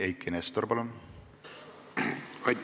Eiki Nestor, palun!